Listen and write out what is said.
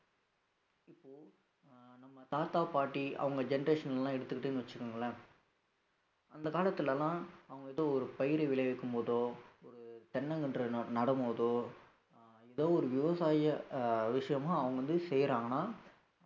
நம்ம தாத்தா பாட்டி அவங்க generation எல்லாம் எடுத்துக்கிட்டீங்கன்னு வச்சுக்கோங்களேன் அந்த காலத்துல எல்லாம் அவங்க ஏதோ ஒரு பயிரை விளைவிக்கும் போதோ ஒரு தென்னங்கன்று நடு~ நடும்போதோ ஏதோ ஒரு விவசாய அஹ் விஷயமா அவங்க வந்து செய்யறாங்கன்னா